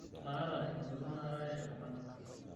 maata engolon naarare iltunganak